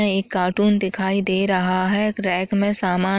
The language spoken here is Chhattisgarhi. एक कार्टून दिखाई दे रहा हैं एक रैक में सामान--